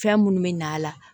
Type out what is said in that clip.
Fɛn minnu bɛ na a la